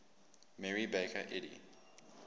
mary baker eddy